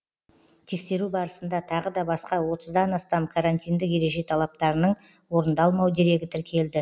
тексеру барысында тағы да басқа отыздан астам карантиндік ереже талаптарының орындалмау дерегі тіркелді